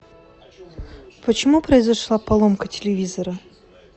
почему произошла поломка телевизора